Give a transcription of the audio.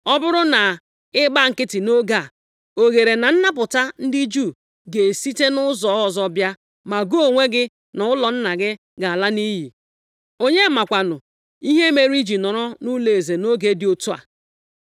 Ọ bụrụ na ị gba nkịtị nʼoge a, oghere na napụta ndị Juu ga-esite nʼụzọ ọzọ bịa, ma gị onwe gị na ụlọ nna gị ga-ala nʼiyi. Onye makwanụ ihe mere i ji nọrọ nʼụlọeze nʼoge dị otu a?”